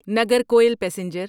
Nagercoil passenger